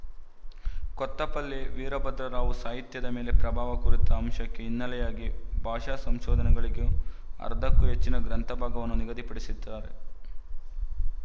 ಕೊತ್ತಪಲ್ಲಿ ವೀರಭದ್ರರಾವು ಸಾಹಿತ್ಯದ ಮೇಲೆ ಪ್ರಭಾವ ಕುರಿತ ಅಂಶಕ್ಕೆ ಹಿನ್ನೆಲೆಯಾಗಿ ಭಾಷಾ ಸಂಶೋಧನಗಳಿಗೆ ಅರ್ಧಕ್ಕೂ ಹೆಚ್ಚಿನ ಗ್ರಂಥ ಭಾಗವನ್ನು ನಿಗದಿಪಡಿಸಿದ್ದಾರೆ